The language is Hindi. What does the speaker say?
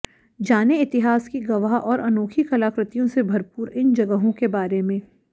जानें इतिहास की गवाह और अनोखी कलाकृतियों से भरपूर इन जगहों के बारे में